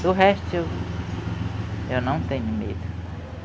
Do resto eu, eu não tenho medo.